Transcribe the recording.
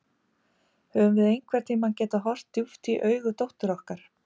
Höfðum við einhvern tíma getað horft djúpt í augu dóttur okkar?